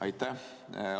Aitäh!